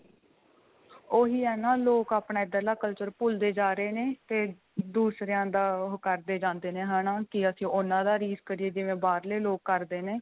ਉਹੀ ਏ ਨਾਂ ਲੋਕ ਆਪਣਾ ਇੱਧਰਲਾ culture ਭੁੱਲਦੇ ਜਾ ਰਹੇ ਨੇ ਤੇ ਦੂਸਰਿਆ ਦਾ ਉਹ ਕਰਦੇ ਜਾਂਦੇ ਨੇ ਹਨਾ ਕੀ ਅਸੀਂ ਉਨ੍ਹਾਂ ਦਾ ਰੀਸ ਕਰੀਏ ਜਿਵੇਂ ਬਾਹਰਲੇ ਲੋਕ ਕਰਦੇ ਨੇ